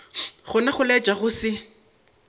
gona go laetša go se